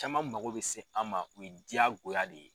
Caman mago bɛ se an ma o ye diyagoya de ye.